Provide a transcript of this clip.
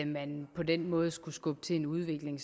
man på den måde skulle skubbe til en udvikling